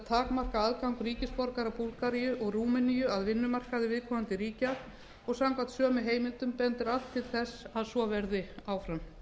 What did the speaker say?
takmarka aðgang ríkisborgara búlgaríu og rúmeníu að vinnumarkaði viðkomandi ríkja og samkvæmt sömu heimildum bendir allt til þess að svo verði áfram